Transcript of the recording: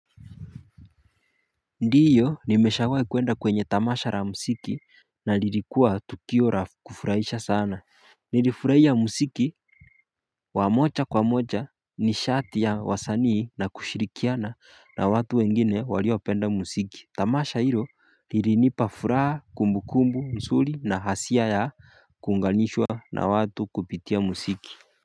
Ndiyo nimeshawai kuenda kwenye tamasha la mziki na nililikuwa tukio la kufurahisha sana nilifurahia mziki wa moja kwa moja nishati ya wasanii na kushirikiana na watu wengine waliopenda muziki tamasha hilo lilinipa furaha kumbukumbu mzuri na hasia ya kuunganishwa na watu kupitia muziki.